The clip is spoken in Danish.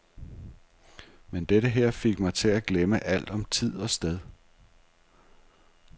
Men dette her fik mig til at glemme alt om tid og sted.